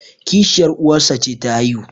kishiyar uwarsa ce ta haihu